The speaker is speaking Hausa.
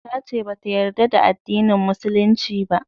Ta ce ba ta yarda da addinin musulunci ba